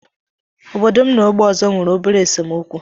Obodo m na ógbè ọzọ nwere obere esemokwu nwere obere